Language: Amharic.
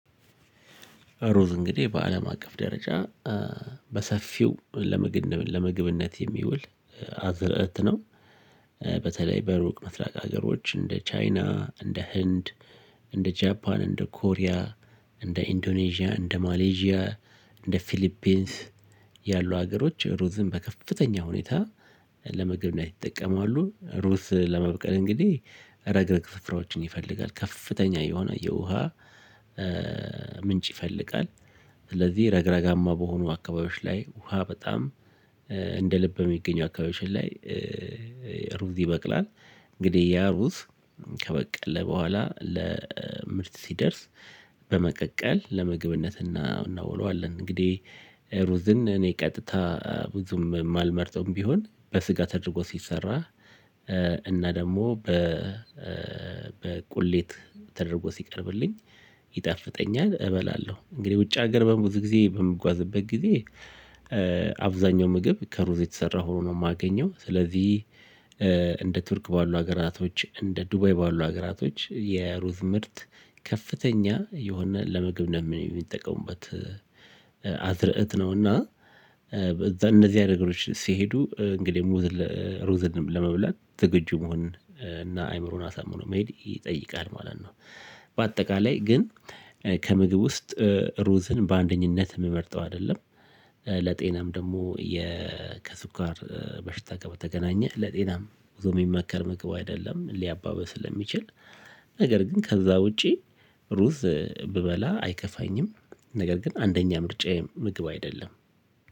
ሩዝ እንግዲህ በአለም አቀፍ ደረጃ በሰፊው ለምግብነት የሚውል አዝርእት ነው። በተለይ በሩቅ ምስራቅ ሀገሮች እንደ ቻይና እንደ ህንድ እንደ ጃፓን እንደ ኮሪያ እንደ ኢንዶኔዥያ እንደ ማሌዥያ እንደ ፊሊፒንስ ያሉ ሀገሮች ሩዝን በከፍተኛ ሁኔታ ለምግብነት ይጠቀማሉ። ሩዝ ለመብቀል እንግዲህ ረግረግ ስፍራዎችን ይፈልጋል ከፍተኛ የሆነ የውሃ ምንጭ ይፈልጋል። ስለዚህ ረግረጋማ በሆኑ አካባቢዎች ላይ ውሃ በጣም እንደ ልብ በሚገኙ አካባቢዎችን ላይ ሩዝ ይበቅላል። እንግዲህ ያ ሩዝ ከበቀለ በኋላ ለምርት ሲደርስ በመቀቀል ለምግብነት እና እናውለዋለን። እንግዲህ ሩዝን እኔ ቀጥታ ብዙም የማልመርጠውም ቢሆን በስጋ ተደርጎ ሲሰራ እና ደግሞ በ በቁሌት ተደርጎ ሲቀርብልኝ ይጣፍጠኛል እበላለሁ። እንግዲህ ውጭ ሀገር ብዙ ጊዜ በምጓዝበት ጊዜ አብዛኛው ምግብ ከሩዝ የተሰራ ሆኖ ነው የማገኘው። ስለዚህ እንደ ቱርክ ባሉ ሀገራቶች እንደ ዱባይ ባሉ ሀገራቶች የሩዝ ምርት ከፍተኛ የሆነ ለምግብ ነው የሚጠቀሙበት። አዝርዕት ነውና እዛ እንደዚህ አይነት ነገሮች ሲሄዱ እንግዲህ ሙዝ ለ ሩዝንም ለመብላት ዝግጁ መሆን እና አእምሮን አሳምኖ መሄድ ይጠይቃል ማለት ነው። በአጠቃላይ ግን ከምግብ ውስጥ ሩዝን በአንደኝነት የምመርጠው አይደለም። ለጤናም ደግሞ የ ከስኳር በሽታ በተገናኘ ለጤናም ብዙ የሚመከር ምግብ አይደለም ሊያባብስ ስለሚችል። ነገር ግን ከዛ ውጪ ሩዝ ብበላ አይከፋኝም። ነገር ግን አንደኛ ምርጫየ ምግብ አይደለም።